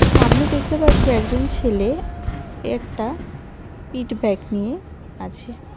সামনে দেখতে পাচ্ছি একজন ছেলে একটা পিঠ ব্যাগ নিয়ে আছে.